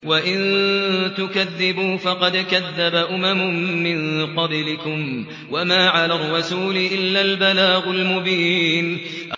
وَإِن تُكَذِّبُوا فَقَدْ كَذَّبَ أُمَمٌ مِّن قَبْلِكُمْ ۖ وَمَا عَلَى الرَّسُولِ إِلَّا الْبَلَاغُ الْمُبِينُ